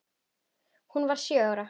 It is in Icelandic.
Hún varð sjö ára.